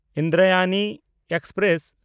Indrayani express